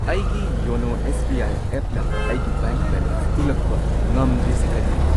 ꯑꯩꯒꯤ ꯌꯣꯅꯣ S B I ꯑꯦꯞꯅ ꯑꯩꯒꯤ ꯕꯦꯡꯛ ꯕꯦꯂꯦꯟꯁ ꯎꯠꯂꯛꯄ ꯉꯝꯗ꯭ꯔꯤꯁꯦ ꯀꯔꯤꯒꯤꯅꯣ?